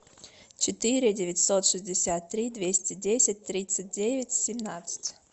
четыре девятьсот шестьдесят три двести десять тридцать девять семнадцать